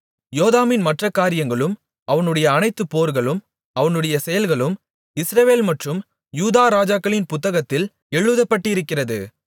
யோதாமின் மற்ற காரியங்களும் அவனுடைய அனைத்து போர்களும் அவனுடைய செயல்களும் இஸ்ரவேல் மற்றும் யூதா ராஜாக்களின் புத்தகத்தில் எழுதப்பட்டிருக்கிறது